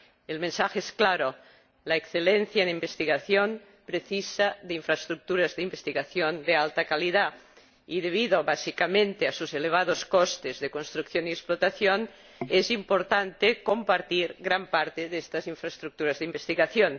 El mensaje es claro la excelencia en investigación precisa de infraestructuras de investigación de alta calidad y, debido básicamente a sus elevados costes de construcción y explotación, es importante compartir gran parte de estas infraestructuras de investigación.